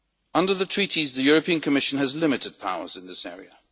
Under the Treaties, the Commission has limited powers in this area.